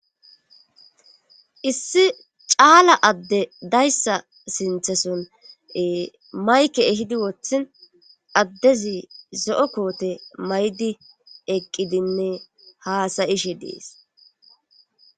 issi caala adde dayssa sintheson mayke ehidi wothin addezi zo'o koote maydi eqqidinne haasa'ishe dees